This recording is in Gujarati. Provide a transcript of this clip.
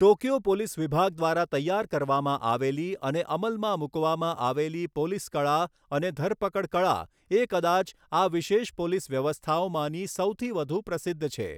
ટોક્યો પોલીસ વિભાગ દ્વારા તૈયાર કરવામાં આવેલી અને અમલમાં મુકવામાં આવેલી પોલીસ કળા અને ધરપકડ કળા એ કદાચ આ વિશેષ પોલીસ વ્યવસ્થાઓમાંની સૌથી વધુ પ્રસિદ્ધ છે.